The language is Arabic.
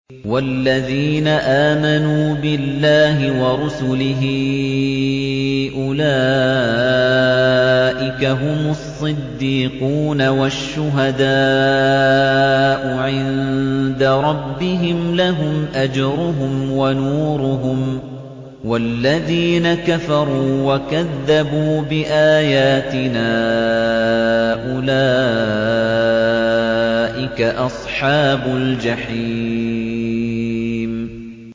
وَالَّذِينَ آمَنُوا بِاللَّهِ وَرُسُلِهِ أُولَٰئِكَ هُمُ الصِّدِّيقُونَ ۖ وَالشُّهَدَاءُ عِندَ رَبِّهِمْ لَهُمْ أَجْرُهُمْ وَنُورُهُمْ ۖ وَالَّذِينَ كَفَرُوا وَكَذَّبُوا بِآيَاتِنَا أُولَٰئِكَ أَصْحَابُ الْجَحِيمِ